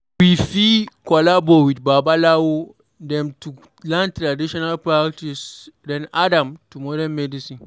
We fit collabo with babalawo dem to learn traditional practice then add am to modern medicine